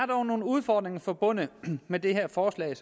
dog nogle udfordringer forbundet med det her forslag